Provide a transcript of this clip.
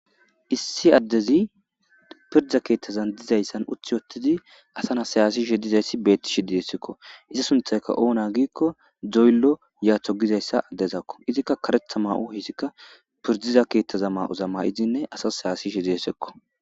Issi addezi piirda keththazan dizayssan uti uttidi h asa na'as hasaishe dizaysi betishe dessekko izza sunththaykka oona gikko doyllo yaato giiza adezako izzika kareththa mayo hessika pirdiza keththaza mayo mayidine asas hasa'ishe desseko.